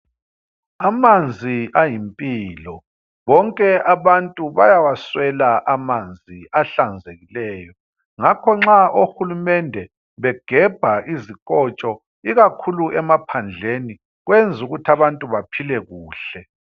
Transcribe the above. Amanzi ayimpilo. Bonke abantu bayawaswela amanzi ahlanzekileyo. Ngakho nxa ohulumende begebha izikotsho ikakhulu emaphandleni kwenzukuthi abantu baphile kuhle.